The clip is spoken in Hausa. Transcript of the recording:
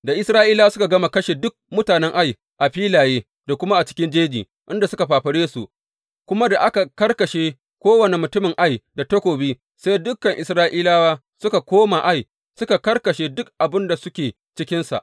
Da Isra’ilawa suka gama kashe duk mutanen Ai a filaye da kuma a cikin jeji inda suka fafare su, kuma da aka karkashe kowane mutumin Ai da takobi sai dukan Isra’ilawa suka koma Ai suka karkashe duk waɗanda suke cikinsa.